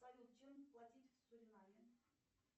салют чем платить в суринаме